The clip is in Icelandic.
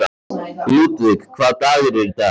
Ludvig, hvaða dagur er í dag?